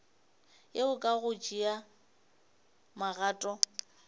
yeo ka go tšea magato